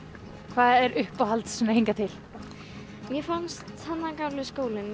hvað er uppáhalds hingað til mér fannst þarna gamli skólinn